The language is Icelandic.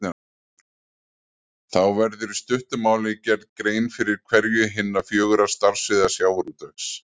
Þá verður í stuttu máli gerð grein fyrir hverju hinna fjögurra starfssviða sjávarútvegs.